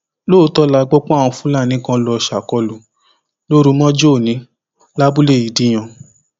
lóòótọ la gbọ páwọn fúlàní kan lọọ ṣàkólú lóru mọjú ọnì lábúlé ìdíyàn